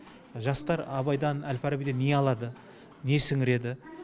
жастар абайдан әл фарабиден не алады не сіңіреді